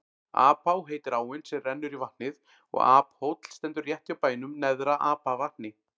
Apá heitir áin sem rennur í vatnið og Aphóll stendur rétt hjá bænum Neðra-Apavatni.